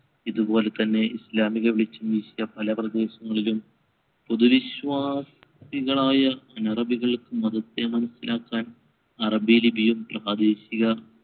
ഇതുപോലെത്തന്നെ ഇസ്ലാമിക പല പ്രദേശങ്ങളിലും പുതുവിശ്വാസികളായ അനഅറബികൾക്ക് മതത്തെ മനസ്സിലാക്കാൻ അറബിലിപിയും പ്രാദേശിക